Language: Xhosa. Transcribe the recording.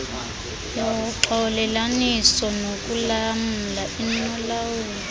yoxolelaniso nokulamla inolawulo